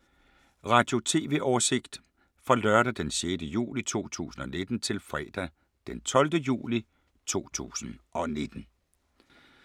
Radio/TV oversigt fra lørdag d. 6. juli 2019 til fredag d. 12. juli 2019